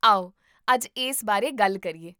ਆਓ ਅੱਜ ਇਸ ਬਾਰੇ ਗੱਲ ਕਰੀਏ